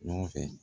Ɲɔgɔn fɛ